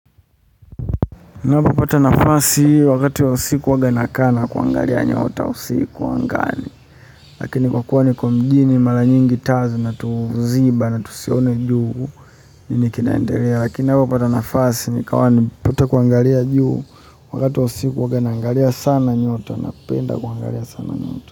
Ninapo pata nafasi wakati wa usiku uwaga na kaa na kuangalia nyota usiku angani lakini kwa kuwa ni kwa mjini mara nyingi taa zinatuziba na tusione juu nini kinaendelea lakini ninapo pata nafasi ni kawa nimepata kuangalia juu wakati wa usiku huwanga naangalia sana nyota napenda kuangalia sana nyota.